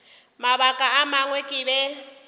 mabaka a mangwe ke be